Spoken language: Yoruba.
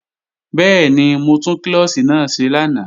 Bẹ́ẹ̀ni, mo tún klọ́ọ̀ṣì náà ṣe lánàá